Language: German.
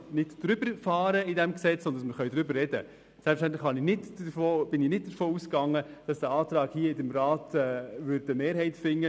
Ich bin selbstverständlich nicht davon ausgegangen, dass der Antrag im Rat eine Mehrheit finden wird.